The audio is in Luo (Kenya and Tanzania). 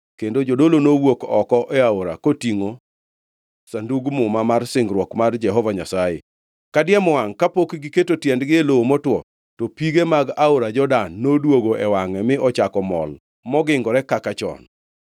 Kendo jodolo nowuok oko e aora kotingʼo Sandug Muma mar singruok mar Jehova Nyasaye. Kadiemo wangʼ kapok giketo tiendegi e lowo motwo, to pige mag aora Jordan noduogo e wangʼe mi ochako mol mogingore kaka chon.